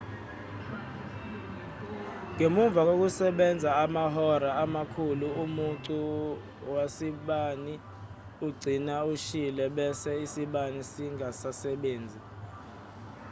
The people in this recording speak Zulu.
ngemuva kokusebenza amahora amakhulu umucu wasibani ugcina ushile bese isibani singasasebenzi